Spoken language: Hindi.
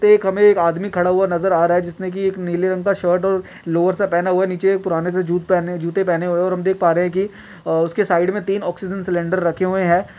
पे हमे एक आदमी खड़ा हुआ नज़र आ रहा है जिसने की एक नीले रंग का शर्ट और लोअर सा पहना हुआ है नीचे पुराने से जूत जूते पहने हुए हैं और हम देख पा रे हैं की अ-- उसके साइड में तीन ऑक्सीजन सिलिंडर रखे हुए हैं।